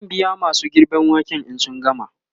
zan biya masu girben waken in sun gama